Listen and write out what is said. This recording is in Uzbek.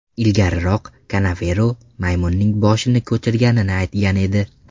Ilgariroq Kanavero maymunning boshini ko‘chirganini aytgan edi.